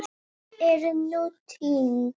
Það er nú týnt.